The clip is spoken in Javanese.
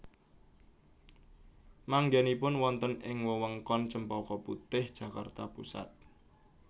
Manggènipun wonten ing wewengkon Cempaka Putih Jakarta Pusat